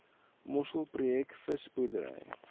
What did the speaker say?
mossel projek visboerdery